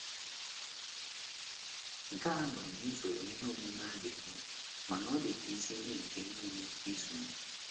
Nke a anọghị n'usoro ihe omume aga eme, mana ọ dị ka isi ihe nke niile izu m.